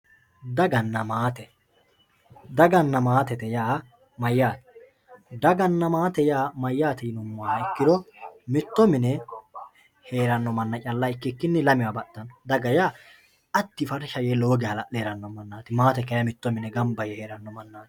Daganna maatte, daganna maattete yaa mayate, daganna maatte mayate yinumoha ikkiro mito mine heerano mana calla ikkikinni lamewa baxano, daga yaa adiyi farisha yee lowo geya hala'le heerano manati, maatte yaa kayinni mito mine gamba yee heerano manati